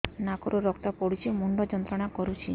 ନାକ ରୁ ରକ୍ତ ପଡ଼ୁଛି ମୁଣ୍ଡ ଯନ୍ତ୍ରଣା କରୁଛି